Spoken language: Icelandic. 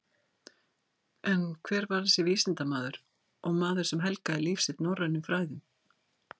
En hver var þessi vísindamaður og maður sem helgaði líf sitt norrænum fræðum?